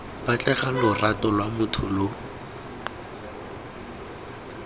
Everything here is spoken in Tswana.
batlega lorato lwa motho lo